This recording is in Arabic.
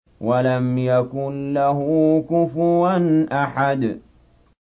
وَلَمْ يَكُن لَّهُ كُفُوًا أَحَدٌ